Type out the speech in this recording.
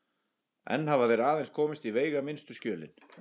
Enn hafa þeir aðeins komist í veigaminnstu skjölin.